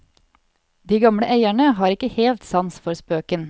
De gamle eierne har ikke helt sans for spøken.